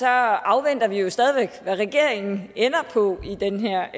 afventer vi jo stadig væk hvad regeringen ender på i den her